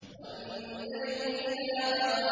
وَالنَّجْمِ إِذَا هَوَىٰ